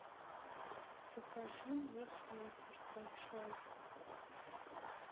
закажи мне сникерс большой